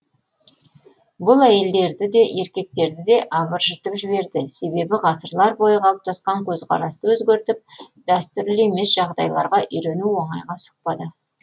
бұл әйелдерді де еркектерді де абыржытып жіберді себебі ғасырлар бойы қалыптасқан көзқарасты өзгертіп дәстүрлі емес жағдайларға үйрену оңайға соқпады